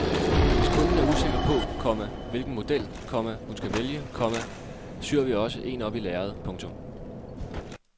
Hvis kunden er usikker på, komma hvilken model, komma hun skal vælge, komma syr vi også en op i lærred. punktum